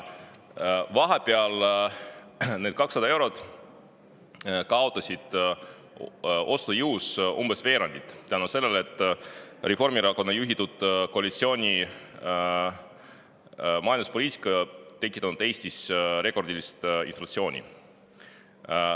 Vahepeal on need 200 eurot kaotanud ostujõust umbes veerandi, sest Reformierakonna juhitud koalitsiooni majanduspoliitika on tekitanud Eestis rekordilise inflatsiooni.